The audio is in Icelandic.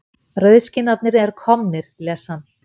Rauðskinnarnir eru komnir, les hann.